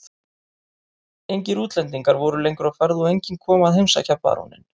Engir útlendingar voru lengur á ferð og enginn kom að heimsækja baróninn.